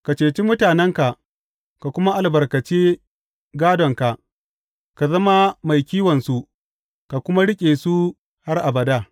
Ka cece mutanenka ka kuma albarkace gādonka; ka zama mai kiwonsu ka kuma riƙe su har abada.